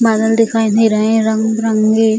बादल दिखाई दे रहे हैं रंग-बिरंगे।